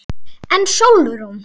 En Sólrún?